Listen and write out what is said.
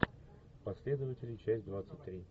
последователи часть двадцать три